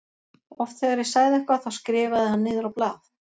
Oft þegar ég sagði eitthvað þá skrifaði hann niður á blað.